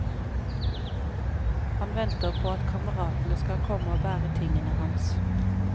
Han venter på at kameratene skal komme og bære tingene hans.